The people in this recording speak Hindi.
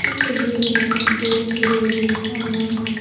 इस तस्वीर में दो बड़ी-बड़ी आयना हैं।